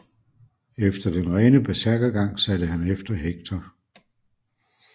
Efter den rene bersærkergang satte han efter Hektor